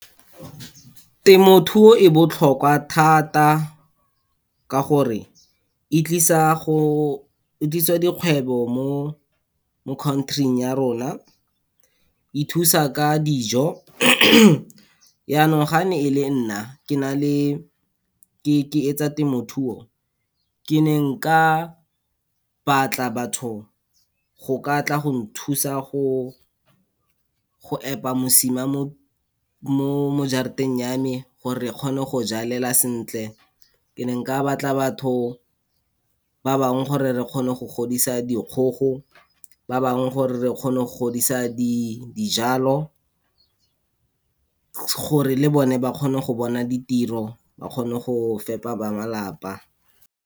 Temothuo e botlhokwa thata ka gore, e tlisa go, e tlisa dikgwebo mo country-ing ya rona. E thusa ka dijo , yanong ga ne e le nna, ke na le, ke etsa temothuo, ke ne nka batla batho go ka tla go nthusa go epa mosima mo jarateng ya me, gore re kgone go jalela sentle. Ke ne nka batla batho ba bangwe gore re kgone go godisa dikgogo, ba bangwe gore re kgone go godisa dijalo gore le bone ba kgone go bona ditiro, ba kgone go fepa ba malapa.